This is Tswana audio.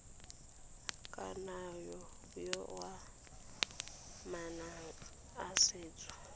kananyo ya manane a setso